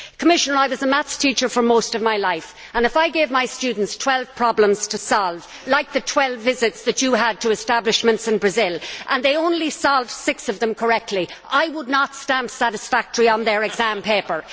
I was a maths teacher for most of my life, and if I gave my students 12 problems to solve like the 12 visits that the Commissioner had to establishments in Brazil and they only solved six of them correctly, I would not stamp satisfactory' on their exam paper.